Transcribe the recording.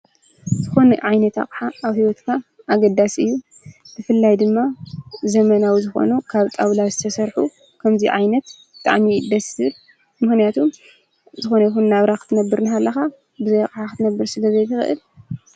ዝኮነ ዓይነት ኣቀሓ ኣብ ሂዎትካ ኣገዳሲ እዩ::ብፍላይ ድማ ዘመናዊ ዝኮኑ ካብ ጣዉላ ዝተሰርሑ ከምዚ ዓይነት ብጣዕሚ እዩ ደስ ዝብለ ምክንያቱ ዝኮነይኩን ናብራ ክትነብር እናሃለካ በዘይ ኣቀሓ ክትነብር ስለ ዘይትክእል::